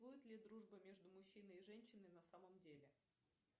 будет ли дружба между мужчиной и женщиной на самом деле